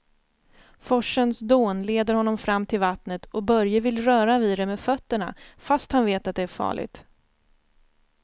Forsens dån leder honom fram till vattnet och Börje vill röra vid det med fötterna, fast han vet att det är farligt.